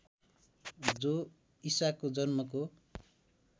जो ईसाको जन्मको